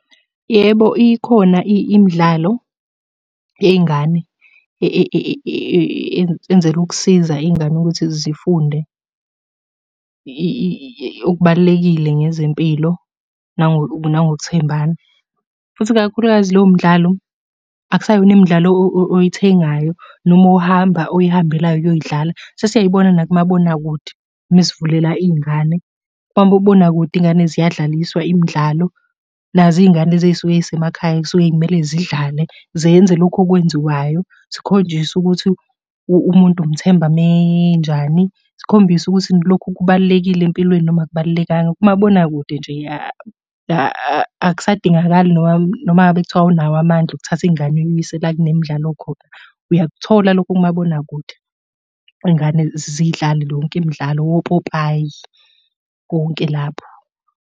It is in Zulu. Yebo, ikhona imidlalo yey'ngane enzelwe ukusiza iy'ngane ukuthi zifunde okubalulekile ngezempilo nangokuthembana, futhi ikakhulukazi lowo mdlalo akusayona imidlalo oyithengayo, noma ohamba, oyihambelayo uyoyidlala. Sesiyayibona nakumabonakude uma sivulela iy'ngane. Kwamobonakude iy'ngane ziyadlaliswa imidlalo. Nazo iy'ngane lezi ey'suke iy'semakhaya ey'suke iy'mele zidlale, zenze lokhu okwenziwayo. Zikhonjiswe ukuthi umuntu umthemba uma enjani. Zikhombise ukuthi lokhu kubalulekile empilweni noma akubalulekanga. Kumabonakude nje akusadingakali noma noma ngabe kuthiwa awunawo amandla okuthatha ingane uyise la ekunemidlalo khona, uyakuthola lokho kumabonakude. Iy'ngane zidlale yonke imidlalo wopopayi konke lapho.